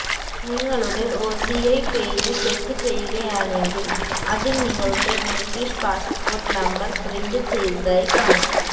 നിങ്ങളുടെ OCI page check ചെയ്യുകയാണെങ്കില് അതില് നിങ്ങളുടെ ബ്രിട്ടീഷ് പാസ്പോര്ട്ട് നമ്പര് പ്രിന്റ് ചെയ്തതായി കാണാം